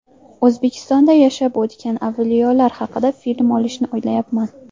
O‘zbekistonda yashab o‘tgan avliyolar haqida film olishni o‘ylayapman.